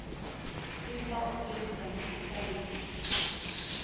empa o sebedisa mefuta le